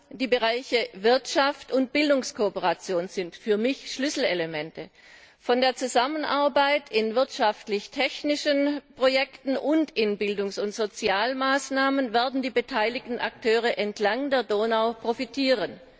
Vor allem die Bereiche Wirtschafts und Bildungskooperation sind für mich Schlüsselelemente. Von der Zusammenarbeit in wirtschaftlich technischen Projekten und bei Bildungs und Sozialmaßnahmen werden die beteiligten Akteure entlang der Donau profitieren.